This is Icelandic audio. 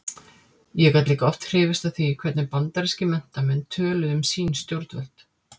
Ég gat líka oft hrifist af því hvernig bandarískir menntamenn töluðu um sín stjórnvöld.